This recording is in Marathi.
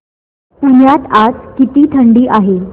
पुण्यात आज किती थंडी आहे